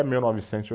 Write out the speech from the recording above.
Mil novecentos e